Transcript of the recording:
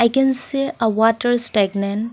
we can see a water stagnant.